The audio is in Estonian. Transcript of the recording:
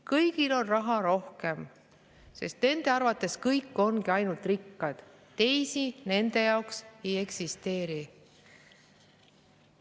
Kõigil on raha rohkem, sest arvates kõik ongi rikkad, teisi nende jaoks ei eksisteeri.